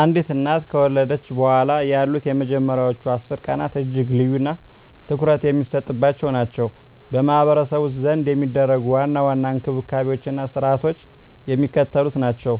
አንዲት እናት ከወለደች በኋላ ያሉት የመጀመሪያዎቹ 10 ቀናት እጅግ ልዩና ትኩረት የሚሰጥባቸው ናቸው። በማኅበረሰቡ ዘንድ የሚደረጉ ዋና ዋና እንክብካቤዎችና ሥርዓቶች የሚከተሉት ናቸው፦